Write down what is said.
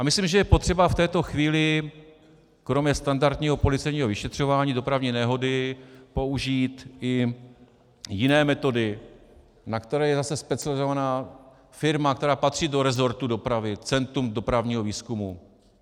A myslím, že je potřeba v této chvíli kromě standardního policejního vyšetřování dopravní nehody použít i jiné metody, na které je zase specializovaná firma, která patří do rezortu dopravy - Centrum dopravního výzkumu.